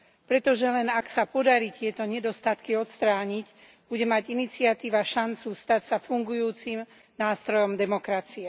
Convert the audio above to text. Pretože len ak sa podarí tieto nedostatky odstrániť, bude mať iniciatíva šancu stať sa fungujúcim nástrojom demokracie.